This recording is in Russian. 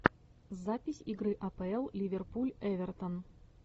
запись игры апл ливерпуль эвертон